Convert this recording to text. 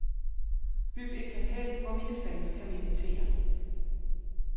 Byg et kapel, hvor mine fans kan meditere.